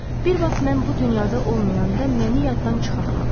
Bir vaxt mən bu dünyada olmayanda məni yaddan çıxartma.